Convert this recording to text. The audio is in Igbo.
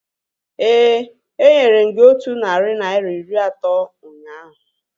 Éè, enyere m gị otú narị naira iri atọ ụnyaahụ